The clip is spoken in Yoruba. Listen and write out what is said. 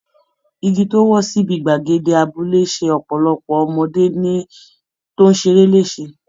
Igi tó wó síbi gbàgede abúlé ṣe ọ̀pọ̀lọpọ̀ ọmọdé tó ń ṣeré léṣe